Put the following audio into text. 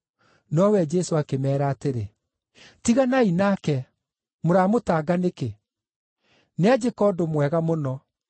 Nowe Jesũ akĩmeera atĩrĩ, “Tiganai nake, mũramũtanga nĩkĩ? Nĩanjĩka ũndũ mwega mũno.